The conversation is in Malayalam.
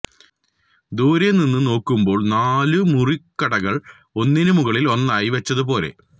ദൂരെ നിന്ന് നോക്കുമ്പോള് നാലുമുറിക്കടകള് ഒന്നിന് മുകളില് ഒന്നായി വെച്ചത് പോലെ